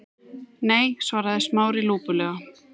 Nei- svaraði Smári lúpulega.